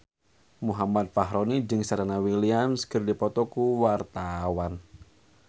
Muhammad Fachroni jeung Serena Williams keur dipoto ku wartawan